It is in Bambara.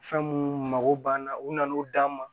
Fɛn minnu mago banna u na n'o d'an ma